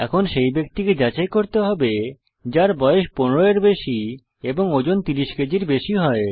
এখন সেই ব্যক্তিকে যাচাই করতে হবে যার বয়স 15 এর বেশি এবং ওজন 30 কেজির বেশি হয়